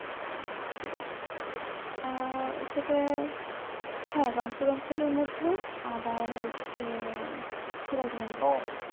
আহ সেটা হ্যাঁ রংপুর অঞ্চলের মধ্যেও আবার হচ্ছে ও